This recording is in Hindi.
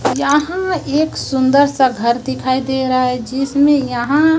यहां एक सुंदर सा घर दिखाई दे रहा है जिसमें यहां--